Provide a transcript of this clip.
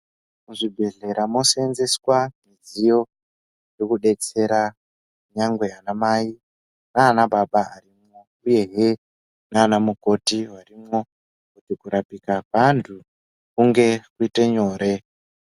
Muzvibhehlera moseenzeswa midziyo irikudetsera nyangwe anamai naanababa uyehe naana mukoti varimwo, kuti kurapika kweantu kunge kuite nyore.